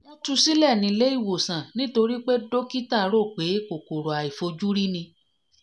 wọ́n tu sílẹ̀ nílé ìwòsàn nítorí pé dókítà rò pé kòkòrò àìfojúrí ni